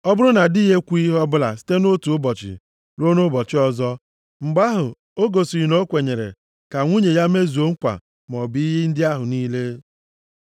Ọ bụrụ na di ya ekwughị ihe ọbụla site nʼotu ụbọchị ruo nʼụbọchị ọzọ, mgbe ahụ, o gosiri na o kwenyere ka nwunye ya mezuo nkwa maọbụ iyi ndị ahụ niile.